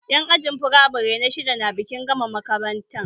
Yan ajin firamare na shidda na bikin gama makaranta